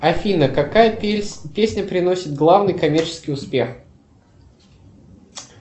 афина какая песня приносит главный коммерческий успех